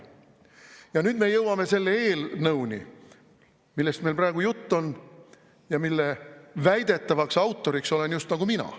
Ja nüüd me jõuame selle eelnõuni, millest praegu jutt on ja mille väidetavaks autoriks olen just nagu mina.